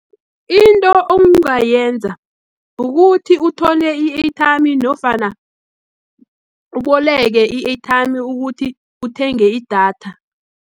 Into ongayenza, ukuthi uthole i-airtime, nofana uboleke i-airtime, ukuthi uthenge idatha.